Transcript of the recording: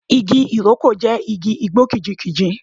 Igi Ìrókò jẹ́ igi igbó kìjikìji.